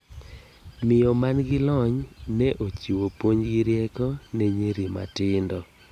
Miyo man gi lony ne ochiwo puonj gi rieko ne nyiri matindo.